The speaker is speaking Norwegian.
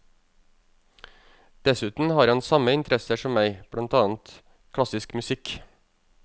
Dessuten har han samme interesser som meg, blant annet klassisk musikk.